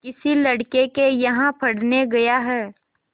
किसी लड़के के यहाँ पढ़ने गया है